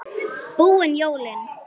Búin jólin.